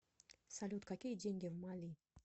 салют какие деньги в мали